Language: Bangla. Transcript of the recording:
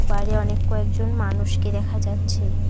বাইরে অনেক কয়েকজন মানুষকে দেখা যাচ্ছে।